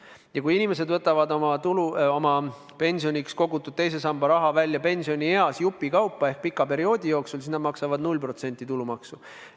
Ja kui inimesed võtavad pensionieas oma kogutud teise samba raha välja jupikaupa ehk pika perioodi jooksul, siis nad maksavad 0% tulumaksu.